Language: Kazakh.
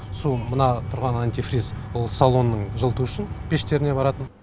су мына тұрған антифриз ол салонның жылыту үшін пештеріне баратын